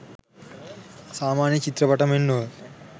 සාමාන්‍ය චිත්‍රපටි මෙන් නොව